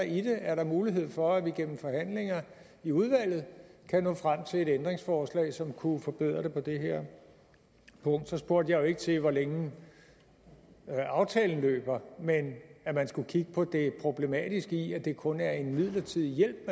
i det er der mulighed for at vi gennem forhandlinger i udvalget kan nå frem til et ændringsforslag som kunne forbedre det på det her punkt så spurgte jeg jo ikke til hvor længe aftalen løber men at man skulle kigge på det problematiske i at det kun er en midlertidig hjælp